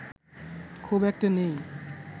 খুব একটা নেই